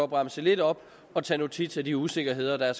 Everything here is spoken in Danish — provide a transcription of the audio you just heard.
bremse lidt op og tage notits af de usikkerheder der